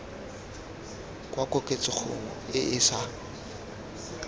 kwa koketsegong e e sa